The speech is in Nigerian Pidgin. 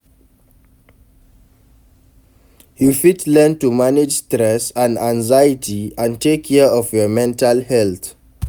You fit learn to manage stress and anxiety and take care of your mental health.